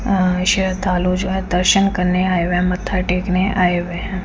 अ श्रधालु जो है दर्शन करने आये हुए है मत्था टेकने आये हुए है।